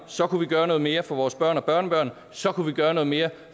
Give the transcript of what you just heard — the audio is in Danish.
så kunne vi gøre noget mere for vores børn og børnebørn så kunne vi gøre noget mere